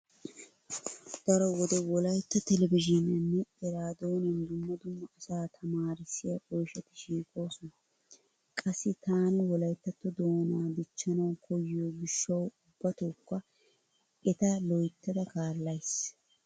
Daro wode wolaytta televizhiiniyaninne eraadooniyan dumma dumma asaa tamaarissiya oyshati shiiqoosona. Qassi taani wolyttatto doonaa dichchanawu koyyiyo gishshawu ubbatookka eta loyttada kaallays.